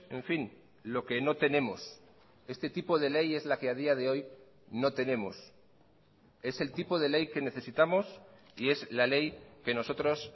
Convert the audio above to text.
en fin lo que no tenemos este tipo de ley es la que a día de hoy no tenemos es el tipo de ley que necesitamos y es la ley que nosotros